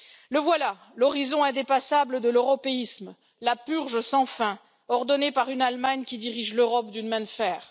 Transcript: Le voilà, l'horizon indépassable de l'européisme, la purge sans fin, ordonnée par une Allemagne qui dirige l'Europe d'une main de fer.